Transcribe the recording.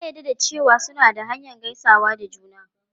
Ya jaddada cewa suna da hanyar gaisawa da juna.